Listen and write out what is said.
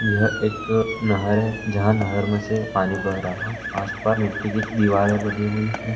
यह एक नहर है जहाँ नहर में से पानी बह रहा है आस-पास मिट्टी की दीवारे बनी हुई हैं।